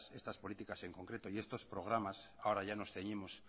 estas políticas en concreto y estos programas ahora ya nos ceñimos